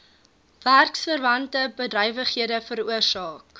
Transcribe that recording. werksverwante bedrywighede veroorsaak